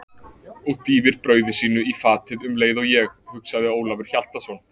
Og dýfir brauði sínu í fatið um leið og ég, hugsaði Ólafur Hjaltason.